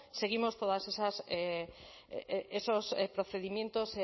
seguimos todas esas eh esos procedimientos